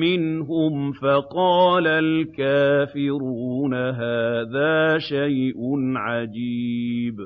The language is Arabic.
مِّنْهُمْ فَقَالَ الْكَافِرُونَ هَٰذَا شَيْءٌ عَجِيبٌ